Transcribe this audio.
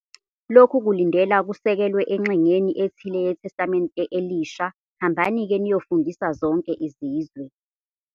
Lokhu kulindela kusekelwe engxenyeni ethile yeTestamente Elisha "Hambani-ke, niyofundisa zonke izizwe".